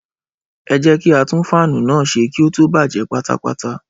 Ẹ jẹ́ kí á tún fáánù náà ṣe kí ó tó bàjé pátápátá